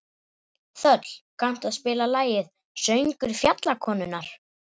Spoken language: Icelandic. Þöll, kanntu að spila lagið „Söngur fjallkonunnar“?